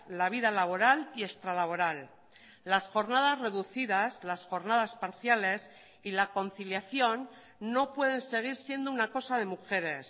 la vida laboral y extralaboral las jornadas reducidas las jornadas parciales y la conciliación no pueden seguir siendo una cosa de mujeres